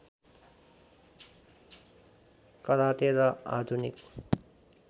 karate र आधुनिक